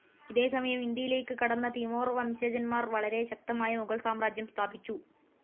ഇതേ സമയം ഇന്ത്യയിലേക്ക് കടന്ന തിമോർ വംശജന്മാർ വളരെ ശക്തമായ മുഗൾ സാമ്രാജ്യം സ്ഥാപിച്ചു.